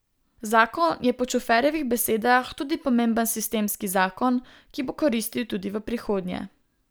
Zakon je po Čuferjevih besedah tudi pomemben sistemski zakon, ki bo koristil tudi v prihodnje.